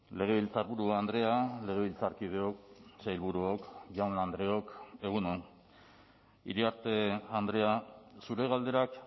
legebiltzarburu andrea legebiltzarkideok sailburuok jaun andreok egun on iriarte andrea zure galderak